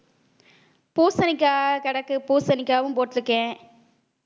பூசணிக்காய் கிடக்கு பூசணிக்காவும் போட்டிருக்கேன்